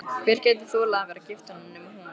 Hver gæti þolað að vera gift honum nema hún?